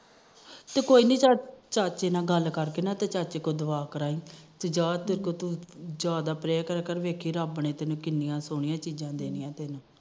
ਤੇ ਕੋਈ ਨੀ ਚਾਚੇ ਨਾਲ ਗੱਲ ਕਰਕੇ ਨਾ ਚਾਚੇ ਤੋ ਦੁਆ ਕਰਾਈ ਜਾਦਾ ਪਰੇਅ ਕਰਿਆ ਕਰ ਦੇਖੀ ਰੱਬ ਨੇ ਕੀਨੀਆਂ ਸੋਹਣੀਆਂ ਚੀਜਾ ਦੇਣੀਆਂ